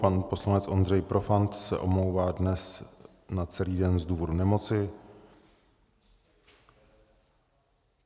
Pan poslanec Ondřej Profant se omlouvá dnes na celý den z důvodu nemoci.